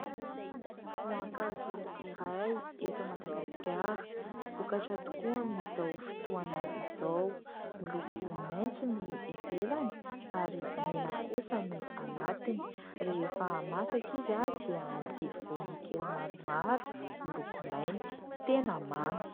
Voankazo iray eto Madagasikara, vokatra tokoa amin'izao fotoana izao. Miloko maitso ny ivelany ary mena kosa ny anatiny. Rehefa masaka izy dia misy voany kely maromaro miloko mainty. Tena mamy.